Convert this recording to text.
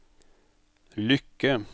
lykke